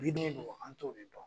Bɛ min don an' to de dɔn.